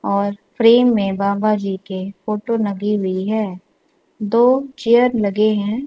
और फ्रेम में बाबा जी के फोटो नगी हुई है दो चेयर लगे हैं।